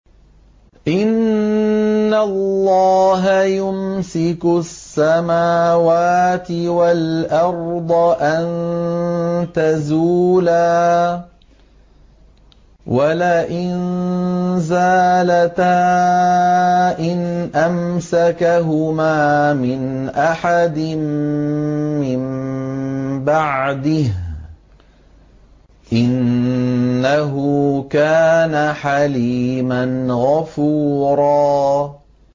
۞ إِنَّ اللَّهَ يُمْسِكُ السَّمَاوَاتِ وَالْأَرْضَ أَن تَزُولَا ۚ وَلَئِن زَالَتَا إِنْ أَمْسَكَهُمَا مِنْ أَحَدٍ مِّن بَعْدِهِ ۚ إِنَّهُ كَانَ حَلِيمًا غَفُورًا